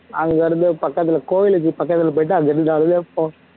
அங்கிருந்து பக்கத்துல கோவிலுக்கு பக்கத்துல போயிடு